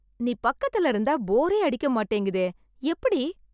நீ பக்கத்துல இருந்தா போரே அடிக்கமாட்டேங்குதே... எப்டி...